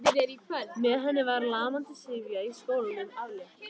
Með henni var lamandi syfju í skólanum aflétt.